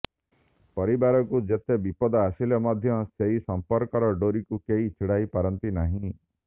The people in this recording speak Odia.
ପରିବାରକୁ ଯେତେ ବିପଦ ଆସିଲେ ମଧ୍ୟ ସେହି ସମ୍ପର୍କର ଡୋରିକୁ କେହି ଛିଡ଼ାଇ ପାରନ୍ତିନାହିଁ